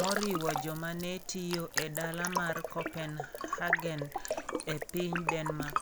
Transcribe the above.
moriwo joma ne tiyo e dala mar Copenhagen, e piny Denmark.